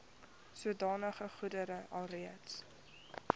sodanige goedere alreeds